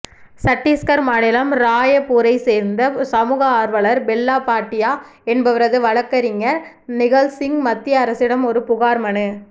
சட்டீஸ்கர் மாநிலம் ராயப்பூரை சேர்ந்த சமூக ஆர்வலர் பெல்லாபாட்டியா என்பவரது வழக்கறிஞர் நிகல்சிங் மத்திய அரசிடம் ஒரு புகார் மனு